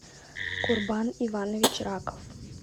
курбан иванович раков